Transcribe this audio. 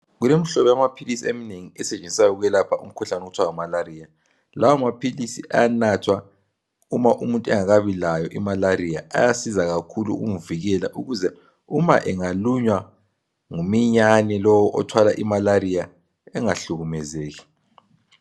Kulemhlobo yamaphilisi emnengi esetshenziswa ukwelapha umkhuhlane okuthwa ngumalaria. Lawo maphilisi ayanathwa uma umuntu engakabi layo imalaria. Ayasiza kakhulu ukumvikela ukuze uma engalunywa nguminyane lowo othwala imalaria engahlukumezeki.